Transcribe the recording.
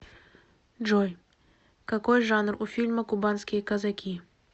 джой какои жанр у фильма кубанские казаки